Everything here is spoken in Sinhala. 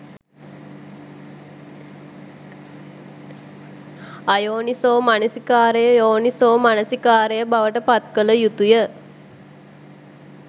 අයෝනිසෝමනසිකාරය යෝනිසෝමනසිකාරය බවට පත් කළ යුතුය.